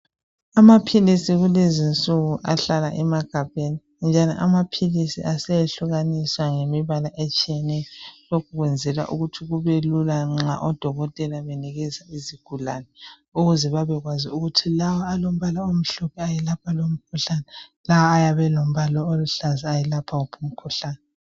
Amaphilisi kulezinsuku ahlala emagabheni njalo amaphilisi aseyehlukaniswa ngemibala etshiyeneyo. Lokhu kwenzelwa ukuthi kubelula nxa odokotela benikeza izigulane ukuze babekwazi ukuthi lawa alombala omhlophe ayelapha wuphi umkhuhlane lawa alombala oluhlaza ayelapha wuphi umkhuhlane.